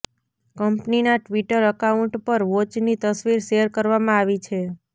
કંપનીના Twitter account પર વોચની તસવીર શેર કરવામાં આવી છે